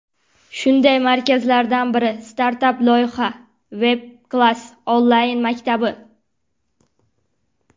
Shunday markazlardan biri startap loyiha Webclass onlayn maktabi.